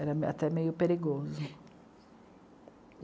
Era até meio perigoso.